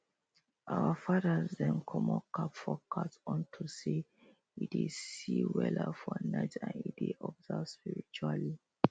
our fathers dem comot cap for cat unto say e dey see see weller for night and e dey observe spiritually